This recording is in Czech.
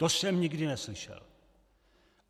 To jsem nikdy neslyšel.